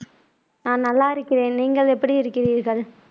ஆஹ் நல்லா இருக்கிறேன் நீங்கள் எப்படி இருக்கிறீர்கள்